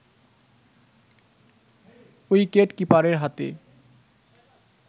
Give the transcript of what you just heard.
wicket কিপারের হাতে